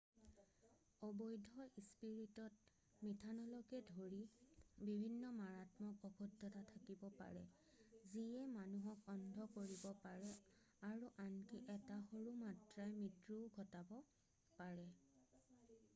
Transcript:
অবৈধ স্পিৰিটত মিঠানলকে ধৰি বিভিন্ন মাৰাত্মক অশুদ্ধতা থাকিব পাৰে যিয়ে মানুহক অন্ধ কৰিব পাৰে আৰু আনকি এটা সৰু মাত্ৰাই মৃত্যুও ঘটাব পাৰে